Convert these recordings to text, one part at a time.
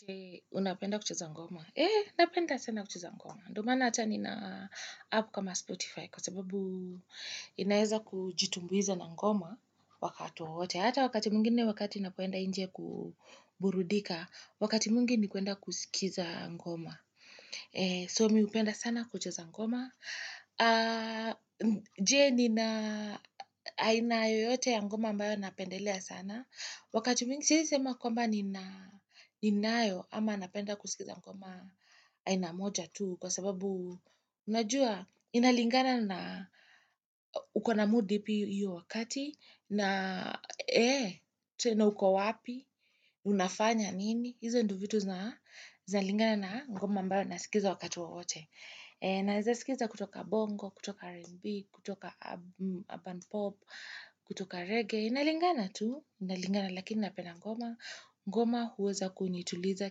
Je, unapenda kuchuza ngoma? Eee, napenda sana kucheza ngoma. Ndio maana acha ni app kama Spotify kwa sababu inaeza kujitumbuiza na ngoma wakati wowote. Na hata wakati mwingine wakati napoenda nje kuburudika, wakati mwingi ni kuenda kusikiza ngoma. So, mimi upenda sana kuchuza ngoma. Je, nina, aina yoyote ya ngoma ambayo napendelea sana. Wakati mingi siwezi sema kwamba ninayo ama napenda kusikiza kwamba aina moja tu kwa sababu unajua inalingana na ukona mood ipi hiyo wakati na ee tena uko wapi unafanya nini hizo ndio vitu zalingana na ngoma ambayo nasikiza wakati wowote. Naeza sikiza kutoka bongo, kutoka R&B, kutoka bandpop, kutoka reggae Inalingana tu, inalingana lakini napenda ngoma ngoma huweza kunituliza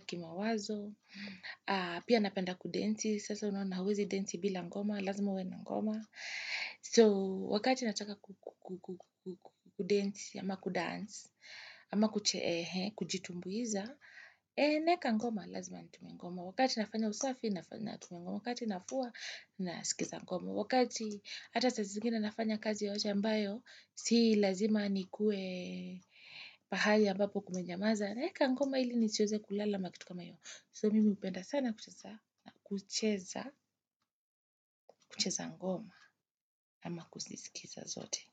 kimawazo Pia napenda kudensi, sasa unaona huwezi densi bila ngoma Lazima uwe na ngoma So, wakati nataka kudensi ama kudance ama kucheehe, kujitumbuiza naeka ngoma, lazima natumia ngoma Wakati nafanya usafi, nafanya natumia ngoma wakati nafua nasikiza ngoma. Wakati hata sazingina nafanya kazi yote ambayo, si lazima nikue pahali ambapo kumenyamaza. Naeka ngoma hili nisiweze kulala ama kitu kama hiyo. So mimi upenda sana kucheza ngoma ama kusisikiza zote.